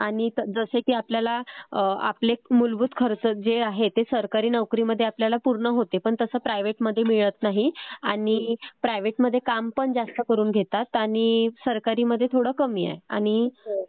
आणि जसे की आपल्याला आपले मूलभूत खर्च जे आहेत ते सरकारी नोकरीमध्ये आपल्याला पूर्ण होते पण तसं प्रायव्हेट मध्ये मिळत नाही. आणि प्रायव्हेट मध्ये काम पण जास्त करून घेतात आणि सरकारी मध्ये थोडं कमी आहे आणि